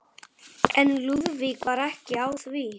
En Lúðvík var ekki á því.